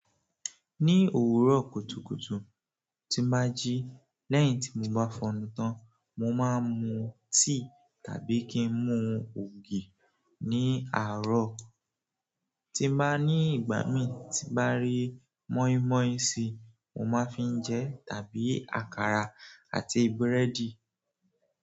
Ní òwúrọ̀ kùtùkùtù tín bá jí lẹ́yìn tí mo bá fọ̀nu tán, mo máa ń mu tíì tàbí kí n mu ògì. Ni àárọ̀ tín bàá ní ìgbà mí tín bá rí mọ́ímọ́í sí, mo máa fi ń jẹ tàbí àkàrà àti búrẹ́dì.